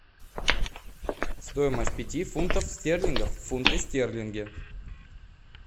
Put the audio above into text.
стоимость пяти фунтов стерлингов в фунты стерлинги